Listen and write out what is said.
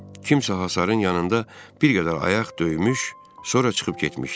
Kimsə hasarın yanında bir qədər ayaq döymüş, sonra çıxıb getmişdi.